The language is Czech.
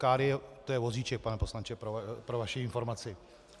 Káry, to je vozíček, pane poslanče, pro vaši informaci.